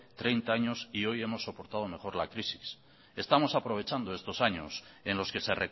treinta años y hoy hemos soportado mejor la crisis estamos aprovechando estos años en los que se